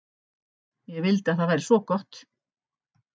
Ég vildi að það væri svo gott.